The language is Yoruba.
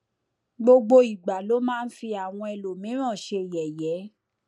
gbogbo ìgbà ló máa ń fi àwọn ẹlòmíràn ṣe yẹyẹ